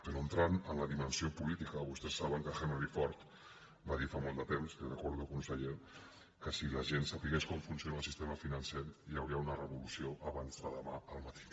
però entrant en la dimensió política vostès saben que henry ford va dir fa molt de temps li ho recordo conseller que si la gent sabés com funciona el sistema financer hi hauria una revolució abans de demà al matí